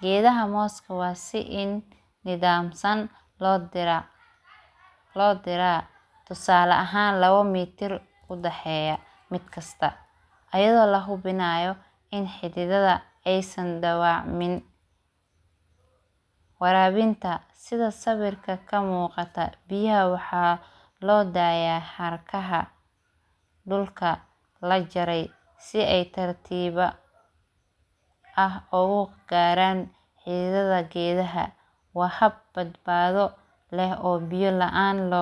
geedaha mooska waa in si nidaamsan loo diraa tusaala ahan lama mitir udhaxeeya midkasta ayadoo lahubinaayo in xididada in ay dhawacamin waraabinta sida sawirka kamuuqata biyaha waxa loo daaya xarkaha dhulka lajarey si ay si tartiib ah uga gaaraan xididada geedaha waa hab badbaado leh oo biyo la aan loo dhaqan karin.